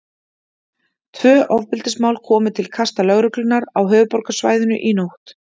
Tvö ofbeldismál komu til kasta Lögreglunnar á höfuðborgarsvæðinu í nótt.